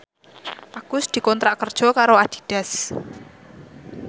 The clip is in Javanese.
Agus dikontrak kerja karo Adidas